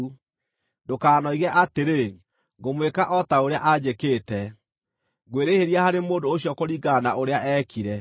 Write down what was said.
Ndũkanoige atĩrĩ, “Ngũmwĩka o ta ũrĩa anjĩkĩte; ngwĩrĩhĩria harĩ mũndũ ũcio kũringana na ũrĩa eekire.”